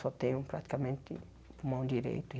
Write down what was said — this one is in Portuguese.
Só tenho praticamente o pulmão direito.